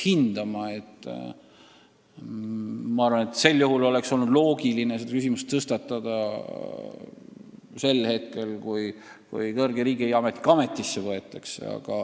Ma arvan, et sellise lähenemise korral oleks olnud loogiline see küsimus tõstatada siis, kui inimene kõrge riigiametniku ametisse esitati.